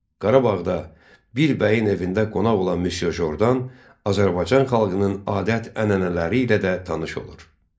Qarabağda bir bəyin evində qonaq olan Müsyo Jordan Azərbaycan xalqının adət-ənənələri ilə də tanış olur.